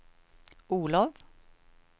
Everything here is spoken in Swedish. Olof